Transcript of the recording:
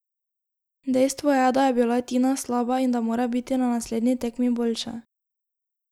Dejstvo je, da je bila Tina slaba in da mora biti na naslednji tekmi boljša.